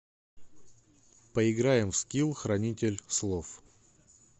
поиграем в скил хранитель слов